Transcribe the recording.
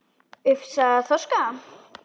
Ufsa eða þorska?